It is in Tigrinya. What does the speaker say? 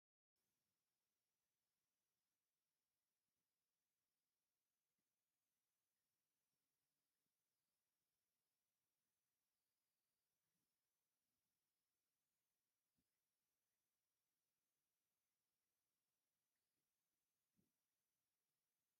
ኣብዚ ሓደ ሰበይቲ ደው ኢላ ትረአ። እቲ ክዳን ቀጠልያን ሰማያውን ቅርጺ ዘለዎ ቅርጺ ኣለዎ። ኣብ ላዕሊ ነዊሕ ክዳን ኣብ ታሕቲ ድማ ሓጺር ክዳን እዩ። እዚ ኣከዳድና ምልክት ናጽነትን ቅርጽን እዩ። ቀዳምነት ቀለልትን ተግባራውያንን